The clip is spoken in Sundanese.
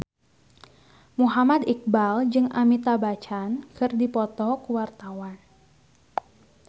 Muhammad Iqbal jeung Amitabh Bachchan keur dipoto ku wartawan